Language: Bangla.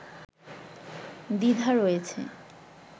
দ্বিধা রয়েছে